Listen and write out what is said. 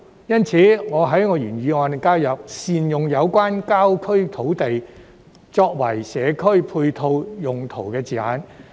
因此，我在原議案加入善用有關郊區土地，作為"社區配套用途"的字眼。